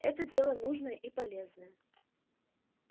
это дело нужное и полезное